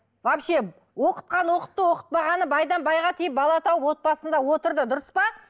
вообще оқытқаны оқытты оқытпағаны байдан байға тиіп бала тауып отбасында отырды дұрыс па